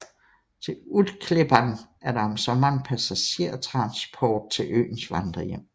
Til Utklippan er der om sommeren passagertransport til øens vandrerhjem